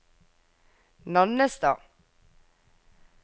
Nannestad